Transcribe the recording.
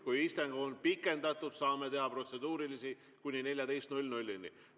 Kui istung on pikendatud, saame teha protseduurilisi kuni kella 14-ni.